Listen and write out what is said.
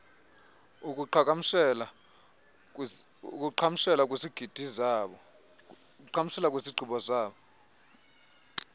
akuqhagamshela kwizigqibo zazo